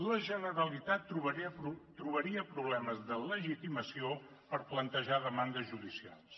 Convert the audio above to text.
la generalitat trobaria problemes de legitimació per plantejar demandes judicials